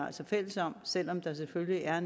altså fælles om selv om der selvfølgelig er